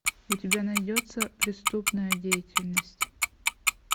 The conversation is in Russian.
у тебя найдется преступная деятельность